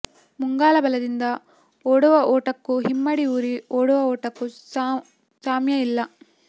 ಮುಂಗಾಲ ಬಲದಿಂದ ಓಡುವ ಓಟಕ್ಕೂ ಹಿಮ್ಮಡಿ ಊರಿ ಓಡುವ ಓಟಕ್ಕೂ ಸಾಮ್ಯ ಇಲ್ಲ